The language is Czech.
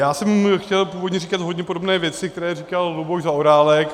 Já jsem chtěl původně říkat hodně podobné věci, které říkal Luboš Zaorálek.